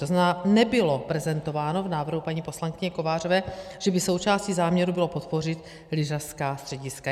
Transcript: To znamená, nebylo prezentováno v návrhu paní poslankyně Kovářové, že by součástí záměru bylo podpořit lyžařská střediska.